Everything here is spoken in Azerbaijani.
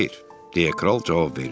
Xeyr, deyə kral cavab verdi.